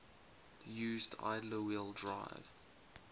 used idler wheel drive